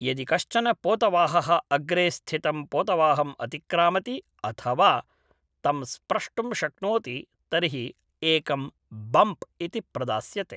यदि कश्चन पोतवाहः अग्रे स्थितं पोतवाहम् अतिक्रामति अथवा तं स्प्रष्टुं शक्नोति तर्हि एकं बम्प् इति प्रदास्यते।